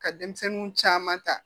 Ka denmisɛnninw caman ta